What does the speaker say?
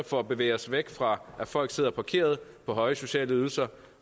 for at bevæge os væk fra at folk sidder parkeret på høje sociale ydelser